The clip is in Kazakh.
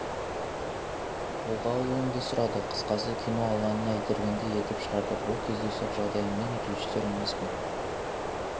қолға алуымды сұрады қысқасы кино алаңына итергендей етіп шығарды бұл кездейсоқ жағдай мен режиссер емеспін